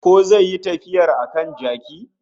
Ko zai yi tafiyar a kan jaki